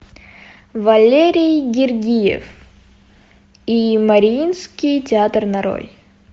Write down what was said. валерий гергиев и мариинский театр нарой